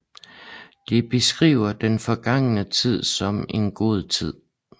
De beskriver den forgangne tid som en god tid